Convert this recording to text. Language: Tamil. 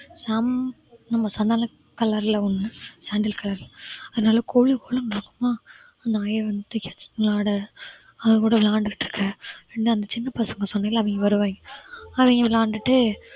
சம்~ நம்ம சந்தன கலர்ல ஒன்னு. sandal colour அது நல்லா கொழு கொழுன்னு இருக்குமா அந்த நாயை வந்துட்டு அது கூட விளையாண்டுட்டு இருக்க ரெண்டு அந்த சின்ன பசங்க சொன்னல்ல அவங்க வருவாங்க அவங்க விளையாடிட்டு